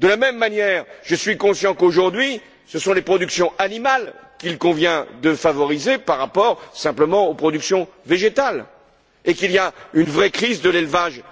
De la même manière, je suis conscient qu'aujourd'hui, ce sont les productions animales qu'il convient de favoriser par rapport aux productions végétales, et qu'il y a une vraie crise de l'élevage